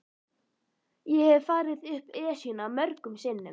Ég hef farið upp Esjuna mörgum sinnum.